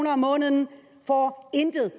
intet